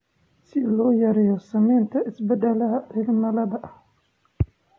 si loo yareeyo saameynta isbedelka cimilada,